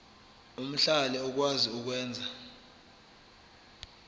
omhlali okwazi ukwenza